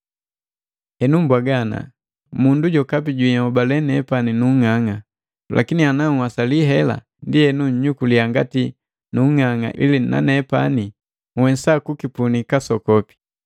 Henu mbwaga: Mundu jokapi jinholale nepani nung'ang'a. Lakini ana nhwasali hela, ndienu nnyukuliya ngati nung'ang'a ili nanepani nhwesa kuba nusukukipunii kasokopi.